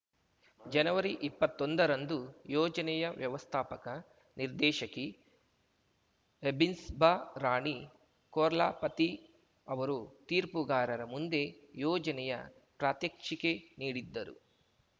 ಜನವರಿಇಪ್ಪತ್ತೊಂದ ರಂದು ಯೋಜನೆಯ ವ್ಯವಸ್ಥಾಪಕ ನಿರ್ದೇಶಕಿ ಹೆಬ್ಸಿಬಾ ರಾಣಿ ಕೊರ್ಲಾಪತಿ ಅವರು ತೀರ್ಪುಗಾರರ ಮುಂದೆ ಯೋಜನೆಯ ಪ್ರಾತ್ಯಕ್ಷಿಕೆ ನೀಡಿದ್ದರು